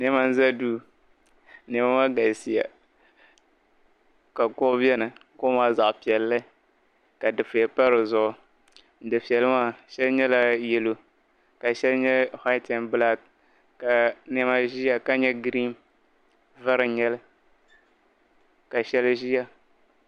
Nɛma n za duu nɛma maa galisiya ka kuɣu beni kuɣu maa zaɣpiɛlli ka difiɛya pa di zuɣu difiɛli maa shɛli nyɛla yalo ka shɛli nye waayit n bilaak ka nɛma ʒiya ka nye gireen vari n nyeli ka shɛli ʒiya.